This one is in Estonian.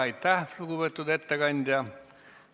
Aitäh, lugupeetud ettekandja!